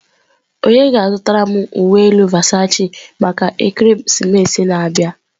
Onye ga-azụtara m uwe elu Versachi maka ekeresimesi a na-abịa?